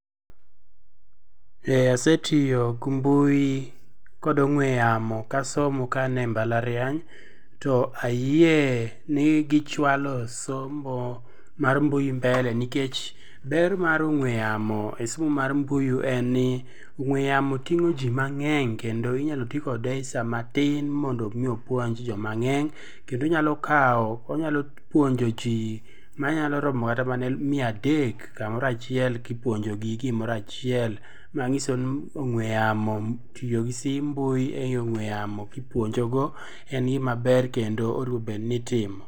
Eeh asetiyo gi mbui kod ong'we yamo kasomo ka an e mbalariany to ayie ni gichwalo somo mar mbui mbele nikech ber mar ong'we yamo e somo mar mbui en ni ong'we yamo ting'o jii mangeny kendo inyal tii kode e saa matin mondo mi opuonj jii mangeny kendo onyalo kao, onyalo puonjo jii manyalo maromo kata mia adek kamoro achiel kipuonjogi gimoro achiel manyisoni ong'we yamo ,tiyo gi simb mbui e ongwe yamo kipuonjo go en gima ber kendo owinjo obed ni itimo